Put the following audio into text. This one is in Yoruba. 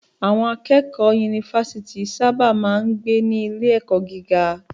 Àwọn akẹ́kọ̀ọ́ yunifásítì sábà máa ń gbé ní ilé-ẹ̀kọ́ gíga.